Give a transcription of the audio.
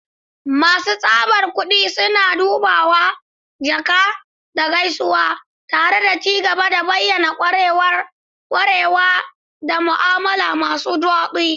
Masu tsabar kudi suna dubawa, jaka, da gaisuwa, tare da ci gaba da bayanan ƙararrawa da mu'amala masu daɗi.